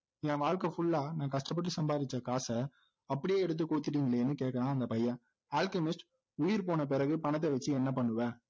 என் வாழ்க்கை full ஆ நான் கஷ்டப்பட்டு சம்பாதிச்ச காசை அப்படியே எடுத்து கொடுத்துட்டீங்களேன்னு கேக்குறான் அந்த பையன் அல்கெமிஸ்ட் உயிர் போனபிறகு பணத்தை வைச்சு என்ன பண்ணுவ